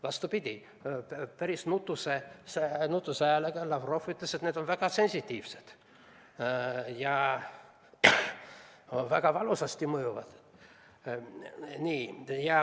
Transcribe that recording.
Vastupidi, Lavrov päris nutuse häälega ütles, et need on väga sensitiivsed ja mõjuvad väga valusasti.